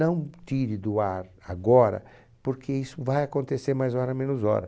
Não tire do ar agora, porque isso vai acontecer mais hora menos hora.